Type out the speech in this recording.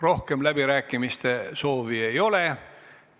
Rohkem läbirääkimiste soovi ei ole.